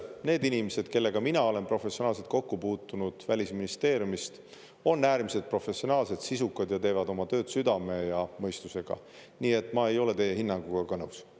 Need inimesed, kellega mina olen professionaalselt kokku puutunud Välisministeeriumist, on äärmiselt professionaalsed, sisukad ja teevad oma tööd südame ja mõistusega, nii et ma ei ole teie hinnanguga ka nõus.